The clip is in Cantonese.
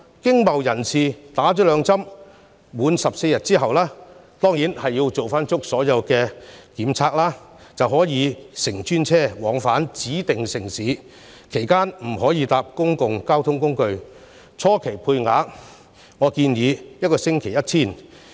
經貿人士接種兩劑疫苗，滿14天之後——當然要做足所有檢測——便可以乘專車往返指定城市，其間不可乘搭公共交通工具，初期配額建議每星期 1,000 個。